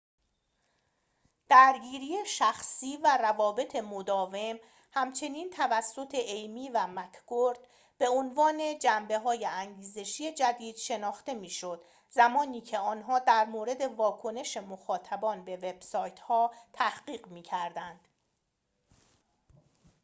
«درگیری شخصی» و «روابط مداوم» همچنین توسط ایمی و مککورد 1998 به عنوان جنبه های انگیزشی جدید شناخته می‌شد زمانیکه آنها در مورد واکنش مخاطبان به وب سایت ها تحقیق می‌کردند